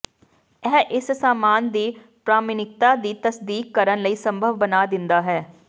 ਇਹ ਇਸ ਸਾਮਾਨ ਦੀ ਪ੍ਰਮਾਣਿਕਤਾ ਦੀ ਤਸਦੀਕ ਕਰਨ ਲਈ ਸੰਭਵ ਬਣਾ ਦਿੰਦਾ ਹੈ